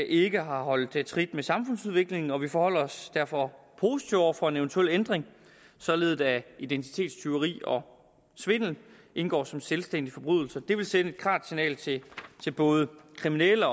ikke har holdt trit med samfundsudviklingen og vi forholder os derfor positivt over for en eventuel ændring således at identitetstyveri og svindel indgår som selvstændige forbrydelser det vil sende et klart signal til til både kriminelle